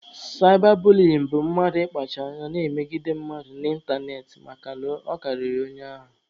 Saịba buliyin bụ mmadụ ịkpacha anya na-emegide mmadụ n'ịntanetị makana ọ karịrị onye ahụ